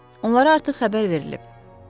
Onlara artıq xəbər verilib.